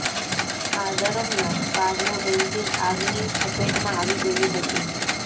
આ દરમિયાન કારનું એન્જિન આગની ઝપેટમાં આવી ગયું હતું